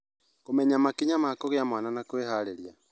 kũmenya makinya ma kũgĩa mwana na kwĩharĩrĩria.